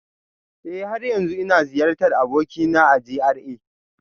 Eh, har yanzu ina ziyartar abokina a GRA